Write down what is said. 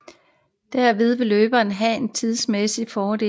Derved vil løberne have en tidsmæssig fordel